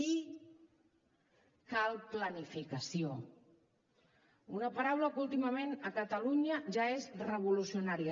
i cal planificació un paraula que últimament a catalunya ja és revolucionària